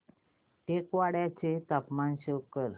टेकवाडे चे तापमान शो कर